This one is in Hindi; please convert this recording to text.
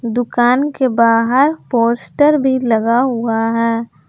दुकान के बाहर पोस्टर भी लगा हुआ है।